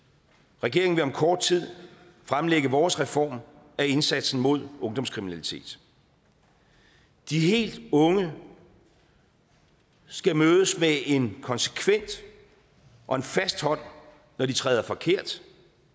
regeringen vil om kort tid fremlægge vores reform af indsatsen mod ungdomskriminalitet de helt unge skal mødes med en konsekvent og en fast hånd når de træder forkert